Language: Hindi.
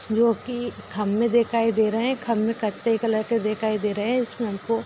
जो की खंभे दिखाई दे रहें हैं खंभे कथे कलर के दिखाई दे रहें हैं इसमें हमको --